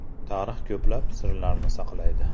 Tarix ko‘plab sirlarni saqlaydi.